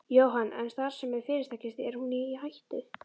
Jóhann: En starfsemi fyrirtækisins, er hún í hættu?